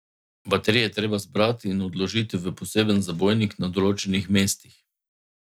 Baterije je treba zbrati in odložiti v poseben zabojnik na določenih mestih.